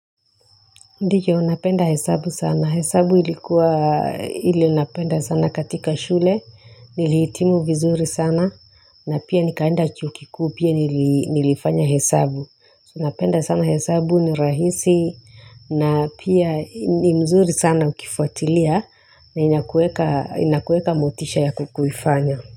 Ndiyo napenda hesabu sana, hesabu ilikuwa, ile napenda sana katika shule, nilihitimu vizuri sana, na pia nikaenda chuo kikuu pia nilifanya hesabu. Napenda sana hesabu ni rahisi, na pia ni mzuri sana ukifuatilia, na inakueka inakueka motisha ya kukuifanya.